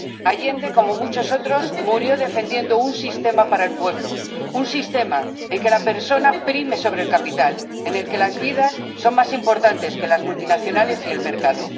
Allende, como muchos otros, murió defendiendo un sistema para el pueblo, un sistema en el que la persona prime sobre el capital, en el que las vidas sean más importantes que las multinacionales y el mercado.